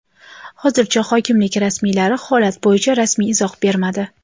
Hozircha hokimlik rasmiylari holat bo‘yicha rasmiy izoh bermadi.